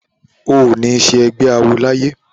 O ò ní ṣe ẹgbé awo láyé!